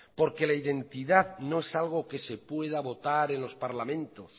porque la identidad no es algo que se pueda votar en los parlamentos